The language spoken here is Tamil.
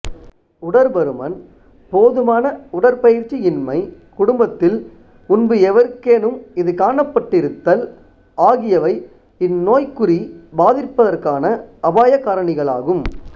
உடற்பருமன் போதுமான உடற்பயிற்சியின்மை குடும்பத்தில் முன்பு எவருக்கேனும் இது காணப்பட்டிருத்தல் ஆகியவை இந்நோய்க்குறி பாதிப்பதற்கான அபாய காரணிகளாகும்